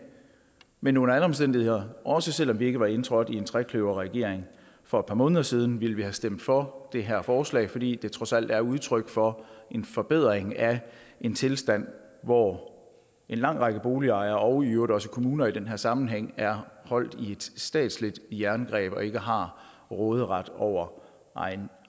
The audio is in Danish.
men under alle omstændigheder også selv om vi ikke var indtrådt i en trekløverregering for et par måneder siden vil vi stemme for det her forslag fordi det trods alt er udtryk for en forbedring af en tilstand hvor en lang række boligejere og i øvrigt også kommuner i den her sammenhæng er holdt i et statsligt jerngreb og ikke har råderet over egen